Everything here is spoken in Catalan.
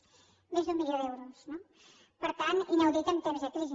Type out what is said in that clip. zero més d’un milió d’euros no per tant inaudit en temps de crisi